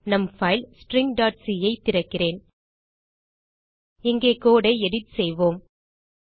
நம் பைல் stringசி ஐ திறக்கிறேன் இங்கே கோடு ஐ எடிட் செய்வோம்